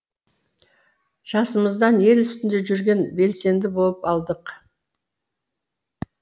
жасымыздан ел үстінде жүрген белсенді болып алдық